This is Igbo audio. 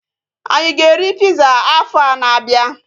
Anyị a ga-eri piza afọa na-abịa?